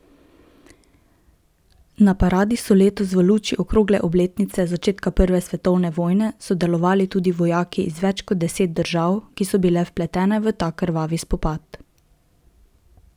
Na paradi so letos v luči okrogle obletnice začetka prve svetovne vojne sodelovali tudi vojaki iz več kot deset držav, ki so bile vpletene v ta krvavi spopad.